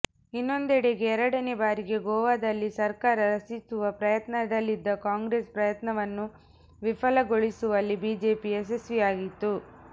ಇನ್ನೊಂದೆಡೆಗೆ ಎರಡನೇ ಬಾರಿಗೆ ಗೋವಾದಲ್ಲಿ ಸರ್ಕಾರ ರಚಿಸುವ ಪ್ರಯತ್ನದಲ್ಲಿದ್ದ ಕಾಂಗ್ರೆಸ್ ಪ್ರಯತ್ನವನ್ನು ವಿಫಲಗೊಳಿಸುವಲ್ಲಿ ಬಿಜೆಪಿ ಯಶಸ್ವಿಯಾಯಿತು